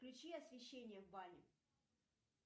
включи освещение в бане